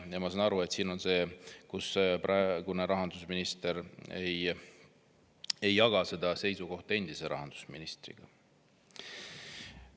Ma saan aru, et praegune rahandusminister ei jaga seda seisukohta endise rahandusministriga.